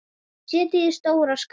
Setjið í stóra skál.